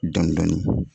Dɔndɔni